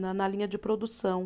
Na na linha de produção.